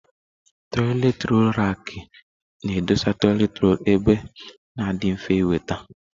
Toịletị rọlụ rakị na edọsa toịletị rọlụ ebe ọ na adị mfe inweta.